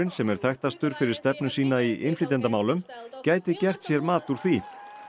sem er þekktastur fyrir stefnu sína í innflytjendamálum gæti gert sér mat úr því